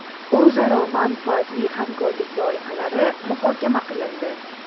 O‘zaro manfaatli hamkorlik loyihalari muhokama qilindi.